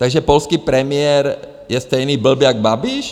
- Takže polský premiér je stejný blb jak Babiš?